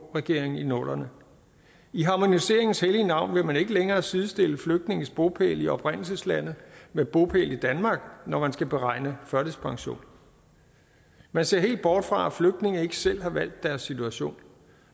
regeringen i nullerne i harmoniseringens hellige navn vil man ikke længere sidestille flygtninges bopæl i oprindelseslandet med bopæl i danmark når man skal beregne førtidspension man ser helt bort fra at flygtninge ikke selv har valgt deres situation